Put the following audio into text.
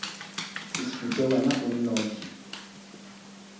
se šupe wena o nnoši